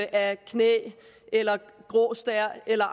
af knæ eller grå stær eller